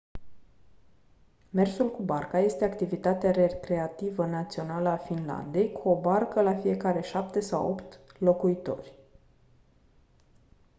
mersul cu barca este activitatea recreativă națională a finlandei cu o barcă la fiecare șapte sau opt locuitori